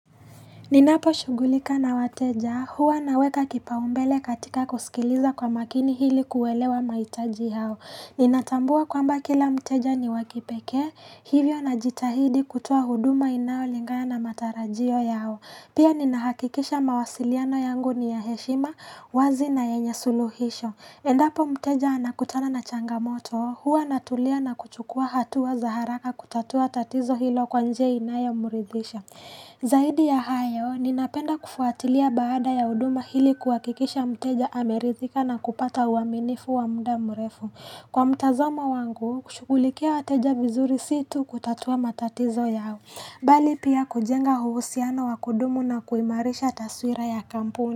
Ninapo shugulika na wateja, huwa naweka kipaumbele katika kusikiliza kwa makini hili kuwaelewa mahitaji hao. Ninatambua kwamba kila mteja ni wakipeke, hivyo na jitahidi kutua huduma inayolingana na matarajio yao. Pia ninahakikisha mawasiliano yangu ni ya heshima, wazi na yenye suluhisho. Endapo mteja anakutana na changamoto, huwa natulia na kuchukua hatua wa za haraka kutatua tatizo hilo kwa njia inayomuridisha. Zaidi ya hayo, ninapenda kufuatilia baada ya uduma hili kuwakikisha mteja ameridhika na kupata uaminifu wa muda mrefu. Kwa mtazamo wangu, kushukulikia wateja vizuri situ kutatua matatizo yao. Bali pia kujenga huusiano wakudumu na kuimarisha taswira ya kampuni.